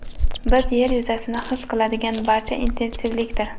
Biz yer yuzasida his qiladigan narsa intensivlikdir.